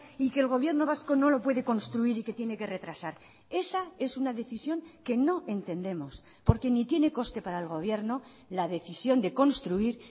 y que el gobierno vasco no lo puede construir y que tiene que retrasar esa es una decisión que no entendemos porque ni tiene coste para el gobierno la decisión de construir